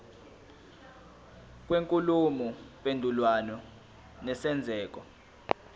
kwenkulumo mpendulwano nesenzeko